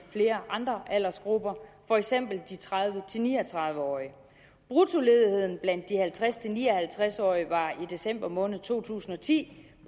i flere andre aldersgrupper for eksempel de tredive til ni og tredive årige bruttoledigheden blandt de halvtreds til ni og halvtreds årige var i december måned to tusind og ti